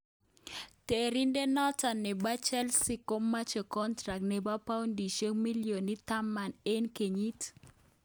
Terindet noton nebo Chelsea komoche contract nebo poudishek millionit 10 eng kenyit